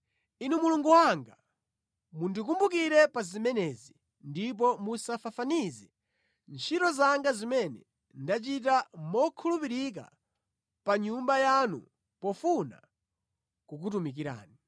Inu Mulungu wanga, mundikumbukire pa zimenezi, ndipo musafafanize ntchito zanga zimene ndachita mokhulupirika pa Nyumba yanu pofuna kukutumikirani.